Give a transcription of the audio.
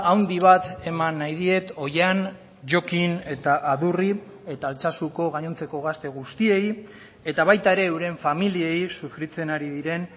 handi bat eman nahi diet oihan jokin eta adurri eta altsasuko gainontzeko gazte guztiei eta baita ere euren familiei sufritzen ari diren